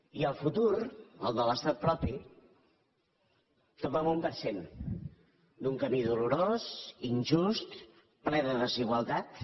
i el futur el de l’estat propi tot va amb un per cent d’un camí dolorós injust ple de desigualtats